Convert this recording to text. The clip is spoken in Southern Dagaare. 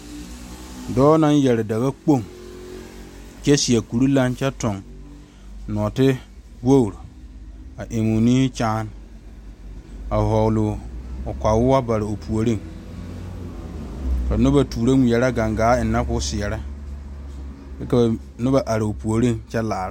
Deɛmo zie la kaa biiri mine su kaayɛ sɔgelɔ ba mine kaayɛ zeere ba mime kaayɛ bonsɔgelɔ ka bɔɔl be be ka teere are kɔge a be ka dire meŋ are kaa biiri paŋ kpɛerɛ